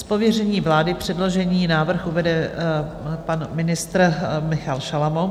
Z pověření vlády předložený návrh uvede pan ministr Michal Šalomoun.